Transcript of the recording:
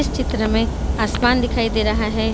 इस चित्र मे आसमान दिखाई दे रहा है।